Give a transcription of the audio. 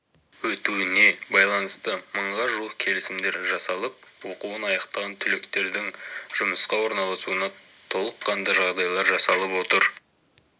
өтуіне байланысты мыңға жуық келісімдер жасалып оқуын аяқтаған түлектердің жұмысқа орналасуына толыққанды жағдайлар жасалып отыр